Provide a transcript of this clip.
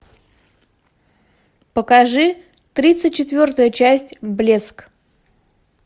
покажи тридцать четвертую часть блеск